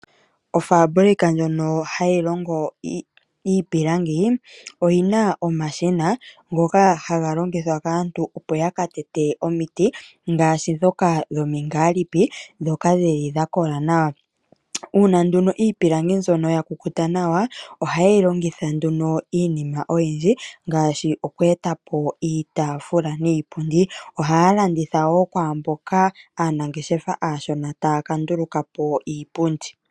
Ofaabulika ndjono hayi longo iipilangi oyi na omashina ngoka haga longithwa kaantu, opo ya ka tete omiti ngaashi ndhoka dhomingaalipi ndhoka dhi li dha kola nawa. Uuna nduno iipilangi mbyono ya kukuta nawa ohaye yi longitha nduno iinima oyindji ngaashi oku eta po iitaafula niipundi. Ohaya landitha wo kwaa mboka aanangeshefa aashona taya ka nduluka po iipundi.